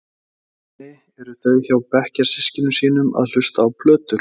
Einusinni eru þau hjá bekkjarsystkinum sínum að hlusta á plötur.